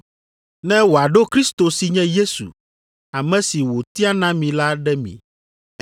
ne wòaɖo Kristo si nye Yesu, ame si wòtia na mi la ɖe mi.